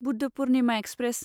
Buddha Purnima express